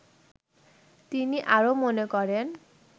তিনি আরো মনে করেন